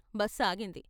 Bus ఆగింది.